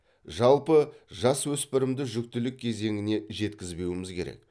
жалпы жасөспірімді жүктілік кезеңіне жеткізбеуіміз керек